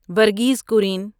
Verghese Korean